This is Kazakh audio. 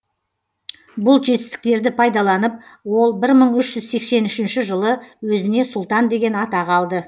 бұл жетістіктерді пайдаланып ол бір мың үш жүз сексен үшінші жылы өзіне сұлтан деген атақ алды